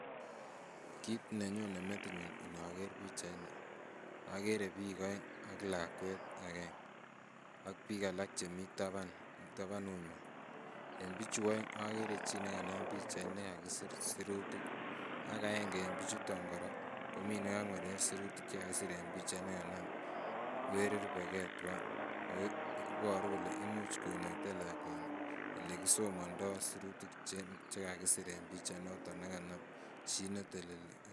Kit nenyone metinyun inoker pichaini ogere biik oeng ak lakwet aenge ak biik alak chemii taban tabanunywan. En pichu oeng ogere chi nekanam pichait ne kakisir sirutik ak aenge en pichuton koraa kokangwerer sirutik che kakisir en pichait nekanam weri rubegee tuan, ago iboru kele imuch konetee lakwani ole kisomondo sirutik che kakisir en pichait noton nekanam chi neteleli